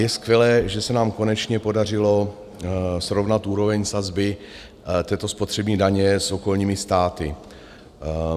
Je skvělé, že se nám konečně podařilo srovnat úroveň sazby této spotřební daně s okolními státy.